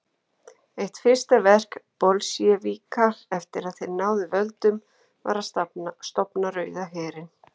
Eitt fyrsta verk Bolsévíka eftir að þeir náðu völdum var að stofna Rauða herinn.